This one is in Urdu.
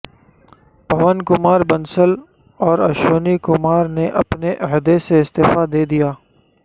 پون کمار بنسل اور اشونی کمار نے اپنے عہدے سے استعفی دے دیا